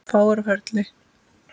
Fáir á ferli.